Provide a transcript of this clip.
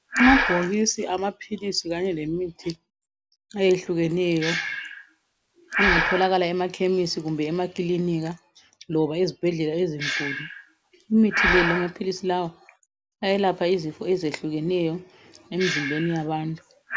Amabhokisi amaphilisi Kanye lemithi ayehlukeneyo engatholakala emaKhemisi kumbe emakilinika loba ezibhedlela ezinkulu , imithi le lamaphilisi lawa ayalapha izifo ezehlukeneyo emzimbeni yabantu.